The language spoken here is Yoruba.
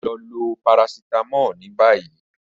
Lọ lo paracetamol ni bayi.